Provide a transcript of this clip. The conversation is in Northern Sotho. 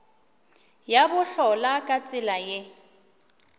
ya bohlola ka tsela ye